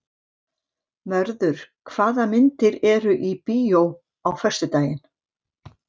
Mörður, hvaða myndir eru í bíó á föstudaginn?